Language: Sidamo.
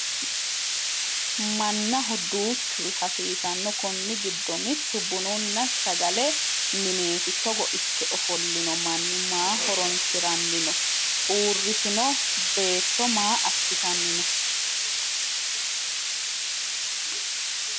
mannaho duuchuri hasiisanno konni giddo mittu bununna sagale mineeti togo ikke ofollino manni maa horonsiranni no? uurritino beetto maa assitanni no?